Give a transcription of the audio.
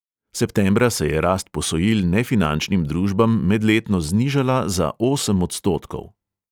Septembra se je rast posojil nefinančnim družbam medletno znižala za osem odstotkov.